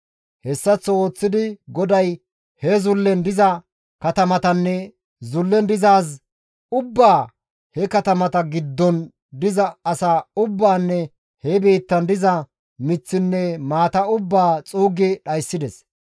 Hessaththo ooththidi GODAY he zullen diza katamatanne zullen dizaaz ubbaa he katamata giddon diza asaa ubbaanne he biittan diza miththinne maata ubbaa xuuggi dhayssides.